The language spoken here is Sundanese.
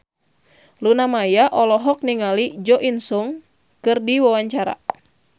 Luna Maya olohok ningali Jo In Sung keur diwawancara